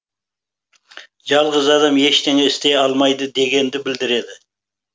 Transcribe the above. жалғыз адам ештеңе істей алмайды дегенді білдіреді